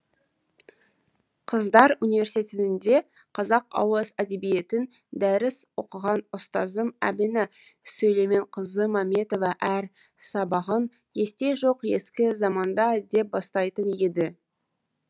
қыздар университетінде қазақ ауыз әдебиетінен дәріс оқыған ұстазым әмина сүлейменқызы мәметова әр сабағын есте жоқ ескі заманда деп бастайтын еді